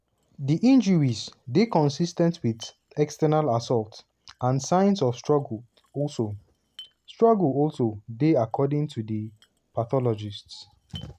di injuries dey consis ten t wit "external assault" and signs of struggle also struggle also dey according to di pathologists.